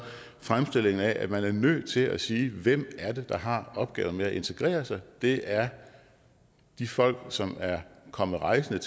fremstillingen af at man er nødt til at sige hvem er det der har opgaven med at integrere sig det er de folk som er kommet rejsende